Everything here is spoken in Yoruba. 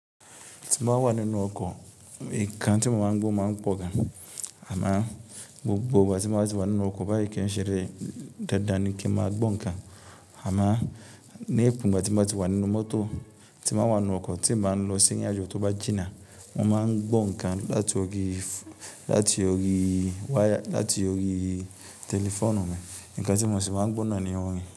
Tí n bá wà nínú ọkọ̀, ìkan tí mo máa ń gbọ́ máa ń pọ̀ gan. Àmá gbogbo ìgbà tí mo bá ti wà nínú ọkọ̀ báyi kè ṣeré dandan ní kí máa gbọ́ nǹkan. Àmá ní èébú ìgbà tí mo bá ti wà nínú mọ́tò, tí mo bá wà nínú ọkọ̀ tí n bá lọ sí ìrìn àjò tó bá jìnnà, mo máa ń gbọ́ nǹkan láti ọ̀rí waya, láti ọ̀rí tẹlifóònù mi, nǹkan tí mo sì máa ń gbó náà ni orin.